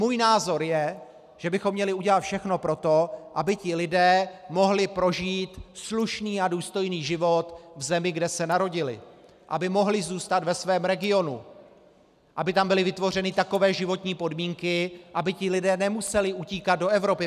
Můj názor je, že bychom měli udělat všechno pro to, aby ti lidé mohli prožít slušný a důstojný život v zemi, kde se narodili, aby mohli zůstat ve svém regionu, aby tam byly vytvořeny takové životní podmínky, aby ti lidé nemuseli utíkat do Evropy.